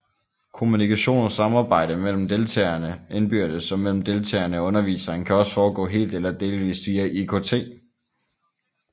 Kommunikation og samarbejde mellem deltagerne indbyrdes og mellem deltagerne og underviseren kan også foregå helt eller delvist via IKT